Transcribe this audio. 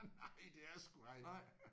Nej det er sgu ej!